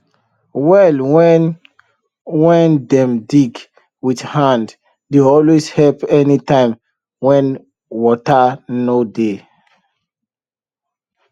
well wen wen dem dig wit hand dey always help anytim wen wata nor dey